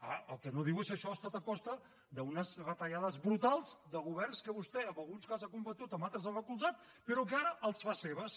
ah el que no diu és que això ha estat a costa d’unes retallades brutals de governs que vostè a alguns ha combatut a altres ha recolzat però que ara les fa seves